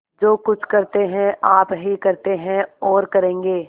जो कुछ करते हैं आप ही करते हैं और करेंगे